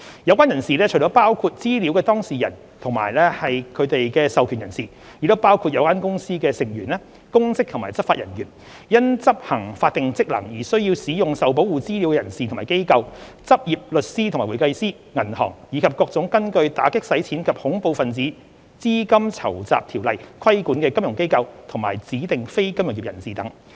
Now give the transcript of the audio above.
有關人士除了包括資料當事人及他們的授權人士，亦包括有關公司的成員、公職及執法人員、因執行法定職能而須使用受保護資料的人士和機構、執業律師和會計師、銀行、以及各種根據《打擊洗錢及恐怖分子資金籌集條例》規管的"金融機構"及"指定非金融業人士"等。